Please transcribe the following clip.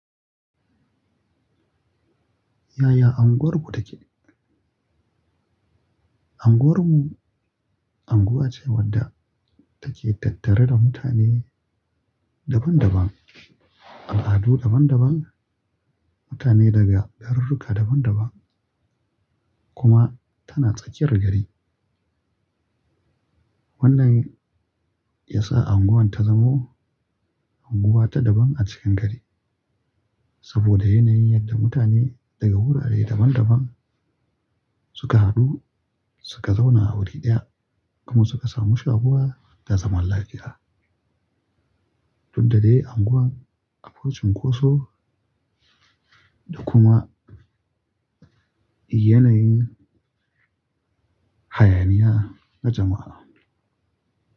Yaya unguwarku take? Unguwarmu unguwa ce wadda take tattare da mutane daban-daban, al'adu daban-daban, mutane daga gararruka daban-daban kuma tana tsakiyar gari. Wannan ya sa unguwar ta zamo unguwa ta daban a cikin gari saboda yanayin yadda mutane daga wurare daban-daban suka hadu, suka zauna a wuri ɗaya kuma suka samu shaƙuwa ta zaman lafiyya. Duka da dai unguwar abokin ƙoso da kuma yanayin hayaniya na jama'a.